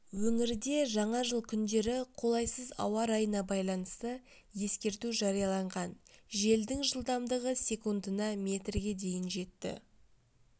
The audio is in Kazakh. өңірде жаңа жыл күндері қолайсыз ауа райына байланысты ескерту жарияланған желдің жылдамдығы секундына метрге дейін жетті